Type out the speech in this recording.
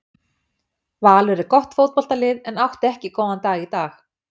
Valur er gott fótboltalið en átti ekki góðan dag í dag.